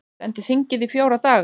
Stendur þingið í fjóra daga